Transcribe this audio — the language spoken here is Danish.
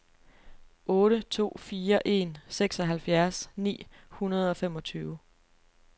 otte to fire en seksoghalvfjerds ni hundrede og femogtyve